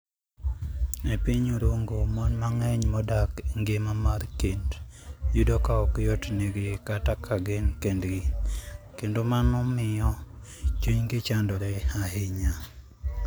E piny Orongo, mon mang'eny modak e ngima mar kend yudo ka ok yotnegi dak ka gin kendgi, kendo mano miyo chunygi chandore ahinya.